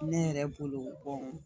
Ne yɛrɛ bolo